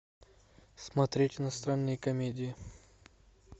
смотреть иностранные комедии